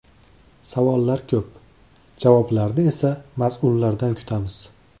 Savollar ko‘p, javoblarni esa mas’ullardan kutamiz.